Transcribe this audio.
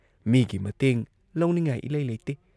ꯃꯤꯒꯤ ꯃꯇꯦꯡ ꯂꯧꯅꯤꯡꯉꯥꯏ ꯏꯂꯩ ꯂꯩꯇꯦ ꯫